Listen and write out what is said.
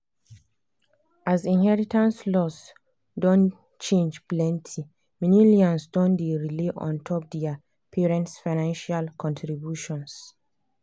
as inheritance laws don change plenty millennials don dey rely ontop their parents financial contributions.